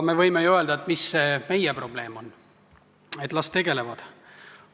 Me võime ju öelda, et mis see meie probleem on, et las nemad tegelevad sellega.